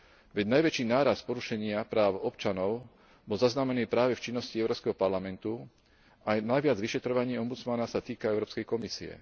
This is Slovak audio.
Veď najväčší nárast porušenia práv občanov bol zaznamenaný práve v činnosti Európskeho parlamentu a aj najviac vyšetrovaní ombudsmana sa týka Európskej komisie.